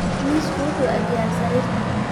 Miisku wuxuu ag yaal sariirta